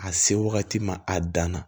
A se wagati ma a dan na